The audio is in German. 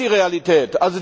Das ist die Realität!